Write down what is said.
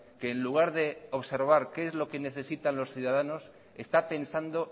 que en lugar de observar qué es lo que necesitan los ciudadanos está pensando